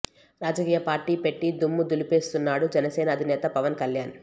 రాజకీయ పార్టీ పెట్టి దుమ్ము దులిపేస్తున్నాడు జనసేన అధినేత పవన్ కళ్యాణ్